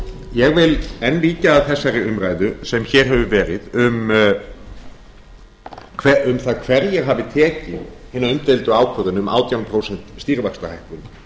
ég vil enn víkja að þessari umræðu sem hér hefur verið um það hverjir hafi tekið hina umdeildu ákvörðun um átján prósent stýrivaxtahækkun